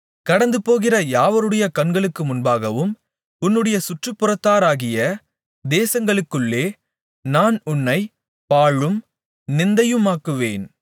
கடந்துபோகிற யாவருடைய கண்களுக்கு முன்பாகவும் உன்னுடைய சுற்றுப்புறத்தாராகிய தேசங்களுக்குள்ளே நான் உன்னைப் பாழும் நிந்தையுமாக்குவேன்